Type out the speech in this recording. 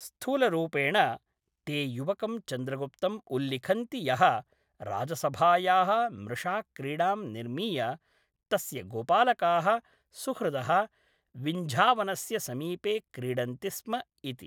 स्थूलरूपेण, ते युवकं चन्द्रगुप्तम् उल्लिखन्ति यः राजसभायाः मृषाक्रीडां निर्मीय, तस्य गोपालकाः सुहृदः विन्झावनस्य समीपे क्रीडन्ति स्म इति।